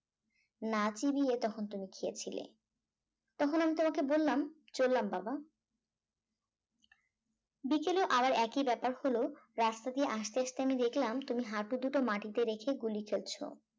না চিবিয়ে তখন তুমি খেয়েছিলে তখন আমি তোমাকে বললাম চললাম বাবা বিকেলে আবার একই ব্যাপার হলো রাস্তা দিয়ে আসতে আসতে আমি দেখলাম তুমি হাটু দুটি মাটিতে রেখে গুলি খেলছো